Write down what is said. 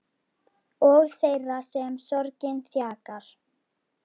Og þeirra sem sorgin þjakar.